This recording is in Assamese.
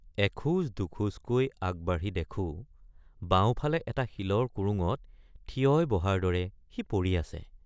এখোজদুখোজকৈ আগবাঢ়ি দেখোঁ—বাওঁফালে এটা শিলৰ কুৰুঙত থিয়ই বহাৰ দৰে সি পৰি আছে।